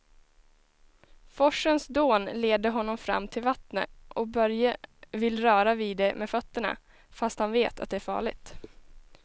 Forsens dån leder honom fram till vattnet och Börje vill röra vid det med fötterna, fast han vet att det är farligt.